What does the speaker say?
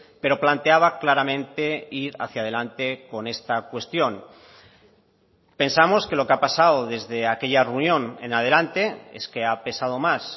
pero planteaba claramente ir hacia adelante con esta cuestión pensamos que lo que ha pasado desde aquella reunión en adelante es que ha pesado más